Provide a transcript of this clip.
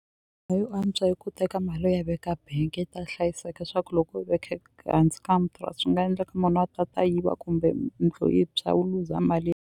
yo antswa yi ku teka mali u ya veka bank yi ta hlayiseka swa ku loko u yi veke hansi ka swi nga endleka munhu a ta ta yiva kumbe yindlu yi tshwa u luza mali.